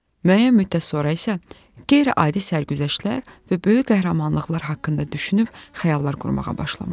Müəyyən müddət sonra isə qeyri-adi sərgüzəştlər və böyük qəhrəmanlıqlar haqqında düşünüb xəyallar qurmağa başlamışdım.